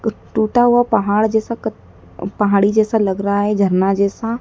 टूटा हुआ पहाड़ जैसा कत पहाड़ी जैसा लग रहा है झरना जैसा।